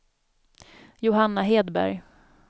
Johanna Hedberg